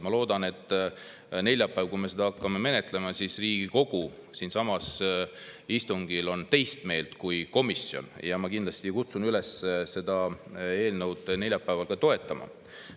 Ma loodan, et neljapäeval, kui me seda menetlema hakkame, on Riigikogu siinsamas istungil teist meelt kui komisjon, ja ma kindlasti kutsun üles seda eelnõu neljapäeval toetama.